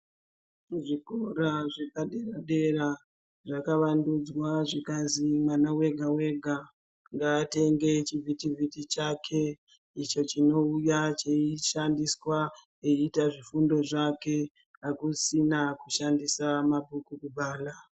Zvikora zvepadera dera zvakavandudzwa zvikazi mwana wega wega ngatenge chivhitivhiti chake icho chinoshandiswa eiuya kuita zvidzidzo zvake akusisina unoshandisa mabhuku kubhala.